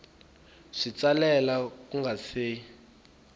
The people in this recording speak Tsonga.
wi tsalela ku nga si